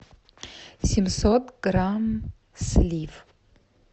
семьсот грамм слив